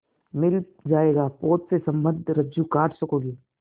मिल जाएगा पोत से संबद्ध रज्जु काट सकोगे